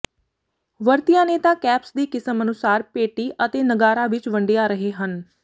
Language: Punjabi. ਵਰਤਿਆ ਨੇਤਾ ਕੈਪਸ ਦੀ ਕਿਸਮ ਅਨੁਸਾਰ ਪੇਟੀ ਅਤੇ ਨਗਾਰਾ ਵਿੱਚ ਵੰਡਿਆ ਰਹੇ ਹਨ